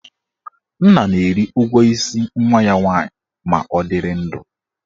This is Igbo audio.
Nna na-eri ụgwọ isi nwa ya nwaanyị ma ọ dịrị ndụ.